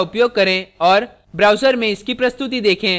browser में इसकी प्रस्तुति देखें